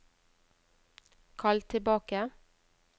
kall tilbake